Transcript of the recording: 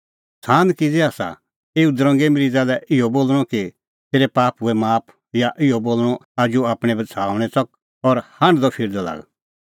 सान किज़ै आसा एऊ दरंगे मरीज़ा लै इहअ बोल़णअ कि तेरै पाप हुऐ माफ या इहअ बोल़णअ उझ़ू आपणैं बछ़ाऊणैं च़क और हांढदअ फिरदअ लाग